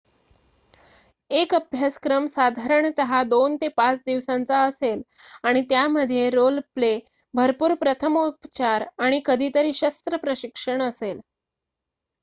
एक अभ्यासक्रम साधारणतः २ ते ५ दिवसांचा असेल आणि त्यामध्ये रोल प्ले भरपूर प्रथमोपचार आणि कधीतरी शस्त्र प्रशिक्षण असेल